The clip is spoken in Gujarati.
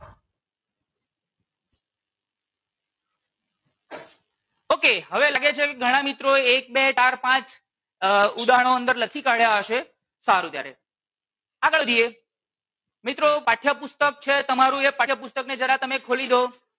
okay હવે લાગે છે કે ઘણા મિત્રો એક બે ચાર પાંચ અમ ઉદાહરણો અંદર લખી કાઢ્યા હશે સારું ત્યારે આગળ જઈએ મિત્રો પાઠ્ય પુસ્તક છે તમારું એ પાઠ્ય પુસ્તક ને જરા તમે ખોલી દો